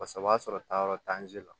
Paseke o b'a sɔrɔ taayɔrɔ t'an si la